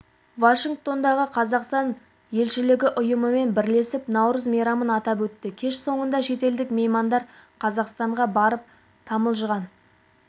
вашингтондағы қазақстан елшілігі ұйымымен бірлесіп наурыз мейрамын атап өтті кеш соңында шетелдік меймандар қазақстанға барып тамылжыған